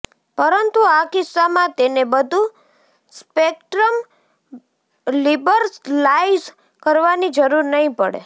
પરંતુ આ કિસ્સામાં તેને બધું સ્પેક્ટ્રમ લિબરલાઇઝ કરવાની જરૂર નહીં પડે